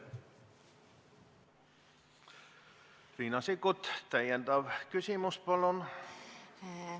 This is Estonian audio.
Riina Sikkut, täpsustav küsimus, palun!